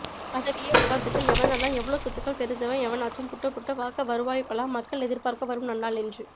பதவியே உக்காந்துட்டுஎவனெல்லாம் எவ்ளோ சொத்துக்கள் தெரிஞ்சவன் எவனாச்சும் புட்டுப்புட்டு வாக்கவருவாயுக்களா மக்கள் எதிர்பாக்க வரும் நன்னாள் என்று